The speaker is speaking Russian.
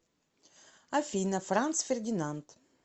афина франц фердинанд